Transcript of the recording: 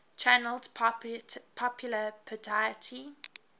channeled popular piety